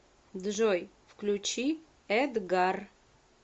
джой включи эдгар